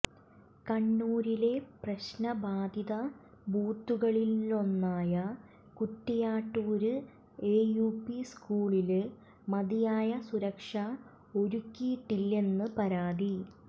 കണ്ണൂരിലെ പ്രശ്നബാധിത ബൂത്തുകളിലൊന്നായ കുറ്റിയാട്ടൂര് എയുപി സ്കൂളില് മതിയായ സുരക്ഷ ഒരുക്കിയിട്ടില്ലെന്നു പരാതി